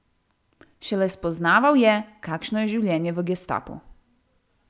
Šele spoznaval je, kakšno je življenje v gestapu.